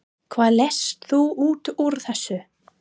Hvað lest þú út úr þessu?